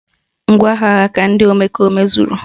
Ngwaagha ha ka ndị omekome zuru